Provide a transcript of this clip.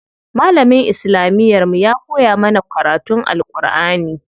Malamin islamiyar mu ya koya mana karatun Alʼƙurʼani.